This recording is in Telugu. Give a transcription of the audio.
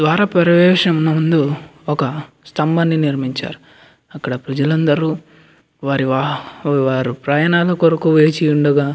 ద్వారా ప్రవేశం ముందు ఒక స్తంబంబిని నిర్మించారు అక్కడ ప్రజలందరూ వాళ్లు వాహ వారి ప్రయాణాలు కొరకు వేచి ఉండగా --